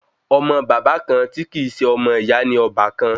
Ọmọ bàbá kan tí kì í ṣe ọmọ ìyá ni ọbàkan